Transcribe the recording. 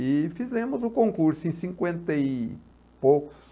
E fizemos o concurso em cinquenta e poucos.